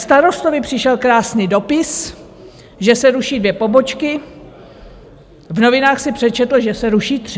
Starostovi přišel krásný dopis, že se ruší dvě pobočky, v novinách si přečetl, že se ruší tři.